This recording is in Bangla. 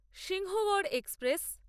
সিংহগড় এক্সপ্রেস